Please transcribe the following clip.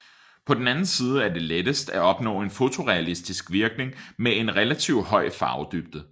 På den anden side er det lettest at opnå en fotorealistisk virkning med en relativt høj farvedybde